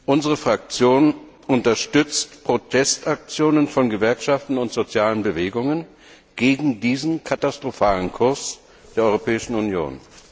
Unsere Fraktion unterstützt Protestaktionen von Gewerkschaften und sozialen Bewegungen gegen diesen katastrophalen Kurs der Europäischen Union.